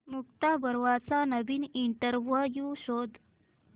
मुक्ता बर्वेचा नवीन इंटरव्ह्यु शोध